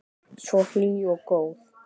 Svo hlý og góð.